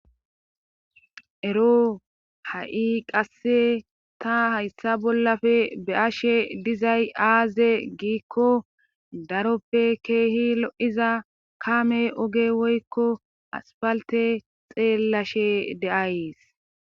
Ero ha7i qasse ta hayssa bollafe be7ashe dizay aaze giikko daroppe keehi lo7iza kaame oge woykko asfalte xeellashe deays.